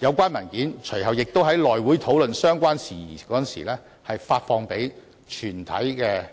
有關文件隨後亦在內務委員會討論相關事宜時發送給全體議員。